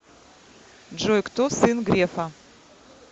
джой кто сын грефа